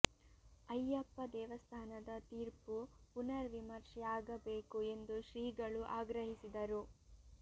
ಅಯ್ಯಪ್ಪ ದೇವಸ್ಥಾನದ ತೀರ್ಪು ಪುನರ್ ವಿಮರ್ಶೆ ಆಗಬೇಕು ಎಂದು ಶ್ರೀಗಳು ಆಗ್ರಹಿಸಿದರು